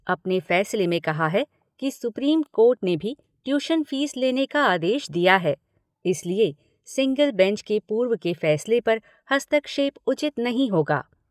अपने फ़ैसले में कहा है कि सुप्रीम कोर्ट ने भी ट्यूशन फ़ीस लेने का आदेश दिया है, इसलिए सिंगल बेंच के पूर्व के फ़ैसले पर हस्तक्षेप उचित नहीं होगा।